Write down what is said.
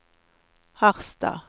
Harstad